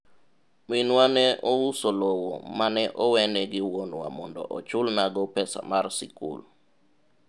minwa ne ouso lowo mane owene gi wuonwa mondo ochulnago pesa mar sikul